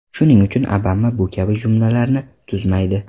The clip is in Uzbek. Shuning uchun Obama bu kabi jumlalarni tuzmaydi.